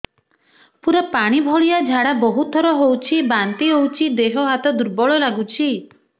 ପୁରା ପାଣି ଭଳିଆ ଝାଡା ବହୁତ ଥର ହଉଛି ବାନ୍ତି ହଉଚି ଦେହ ହାତ ଦୁର୍ବଳ ଲାଗୁଚି